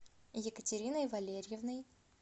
екатериной валерьевной